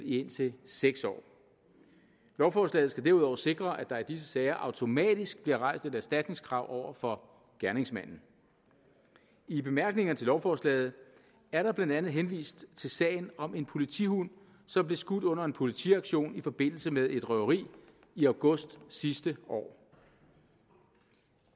i indtil seks år lovforslaget skal derudover sikre at der i disse sager automatisk bliver rejst et erstatningskrav over for gerningsmanden i bemærkningerne til lovforslaget er der blandt andet henvist til sagen om en politihund som blev skudt under en politiaktion i forbindelse med et røveri i august sidste år